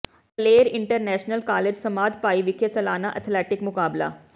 Kaler international college Samadh Bhai ਵਿਖੇ ਸਾਲਾਨਾ athletic ਮੁਕਾਬਲੇ